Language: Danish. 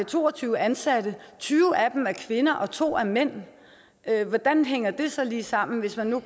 to og tyve ansatte og tyve af dem er kvinder og to er mænd hvordan hænger det så lige sammen hvis man nu